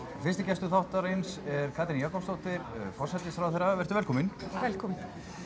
fyrsti gestur þáttarins er Katrín Jakobsdóttir forsætisráðherra vertu velkomin velkomin